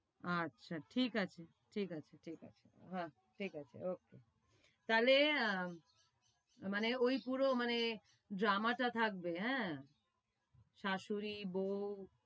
আচ্ছা ঠিক আছে, ঠিক আছে, ঠিক আছে, ওকে। তাইলে মানে ঐ পুরো মানে drama টা থাকবে, এ্যা? শাশুড়ী, বউ